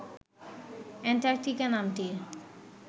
Antarctica নামটির